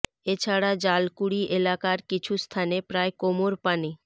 এ ছাড়া জালকুড়ি এলাকার কিছু স্থানে প্রায় কোমর পানি